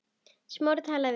Smári talaði við þig?